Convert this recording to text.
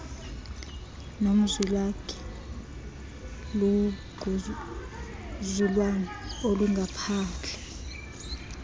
nozwilakhe lungquzulwano olungaphaandle